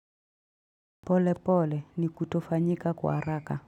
Pole pole ni kutofanyika kwa haraka.